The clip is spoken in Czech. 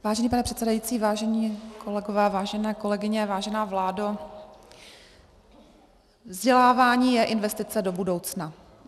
Vážený pane předsedající, vážení kolegové, vážené kolegyně, vážená vládo, vzdělávání je investice do budoucna.